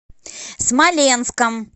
смоленском